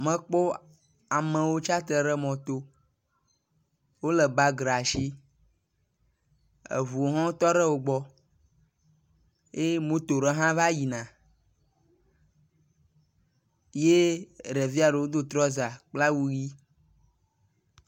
Mekpo amewo tsitre ɖe mɔ to, wole bage ɖe asi, eŋuwo ho tɔ ɖe wogbɔ ye moto ɖe hã va yina ye eɖevia ɖo do trɔza kpla awu ʋi